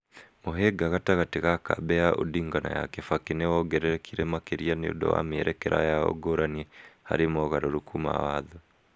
Mũhĩnga gatagatĩ ka kambĩ ya Odinga na ya Kibaki nĩ wongererekire makĩria nĩ ũndũ wa mĩerekera yao ngũrani harĩ mogarũrũku ma Watho.